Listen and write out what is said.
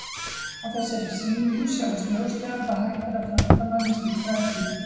Á þessari sýningu sjáist ljóslega hvað hægt sé að framkvæma með slíku efni.